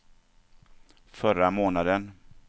förra månaden